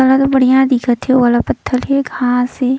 अलग बढ़िया दिखत हे वो वाला पत्थल हे घाँस हे।